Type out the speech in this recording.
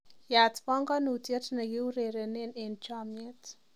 Yaat banganutiet ni kiurerene eng chamiet